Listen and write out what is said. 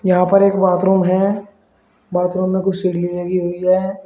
यहां पर एक बाथरूम है बाथरूम में कुछ सीढ़ी लगी हुई है।